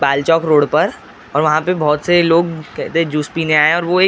बाल चौक रोड पर और वहाँ पे बहुत से लोग जूस पीने आये और वो एक।